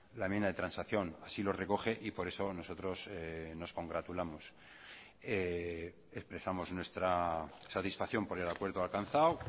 la enmienda de transacción así lo recoge y por eso nosotros nos congratulamos expresamos nuestra satisfacción por el acuerdo alcanzado